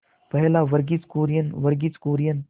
पहल वर्गीज कुरियन वर्गीज कुरियन